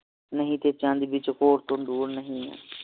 ਨਹੀਂ ਤੇ ਚੰਦ ਵਿ ਚਕੋਰ ਤੋਂ ਦੂਰ ਨਹੀਂ